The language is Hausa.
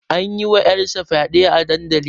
An yi wa ƴar sa fyaɗe a dandali